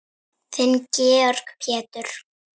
Þinn Georg Pétur.